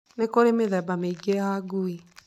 Nĩ kũrĩ mĩthemba mĩingĩ ya ngui.